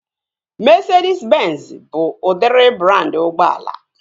Mesedis benzi bụ udịri brandị ụgbọala